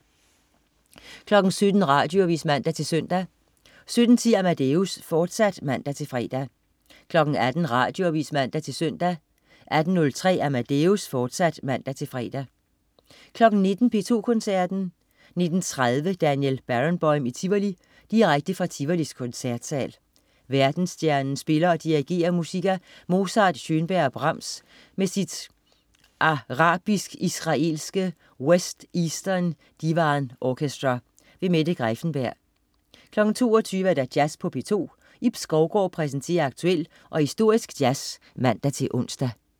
17.00 Radioavis (man-søn) 17.10 Amadeus, fortsat (man-fre) 18.00 Radioavis (man-søn) 18.03 Amadeus, fortsat (man-fre) 19.00 P2 Koncerten. 19.30 Daniel Barenboim i Tivoli. Direkte fra Tivolis Koncertsal. Verdensstjernen spiller og dirigerer musik af Mozart, Schönberg og Brahms med sit arabisk-israelske West-Eastern Divan Orchestra. Mette Greiffenberg 22.00 Jazz på P2. Ib Skovgaard præsenterer aktuel og historisk jazz (man-ons)